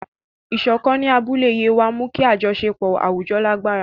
Ìṣọ̀kan ní abúlé Yewa mú kí àjọṣepọ̀ àwùjọ lágbára.